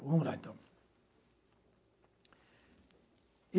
Vamos lá, então.